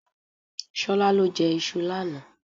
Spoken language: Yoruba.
Ṣolá lọ jẹ iṣu lánàá.